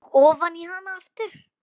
Og ofan í hana aftur.